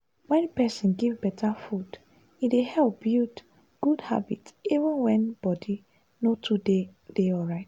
wen person give better food e dey help build good habit even when body no too dey dey alright.